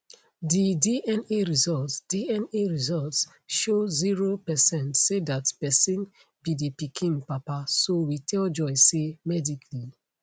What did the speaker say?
di dna results dna results show zero percent say dat pesin be di pikin papa so we tell joy say medically